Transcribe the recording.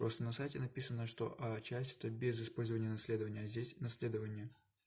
просто на сайте написано что а часть это без использования наследование а здесь наследование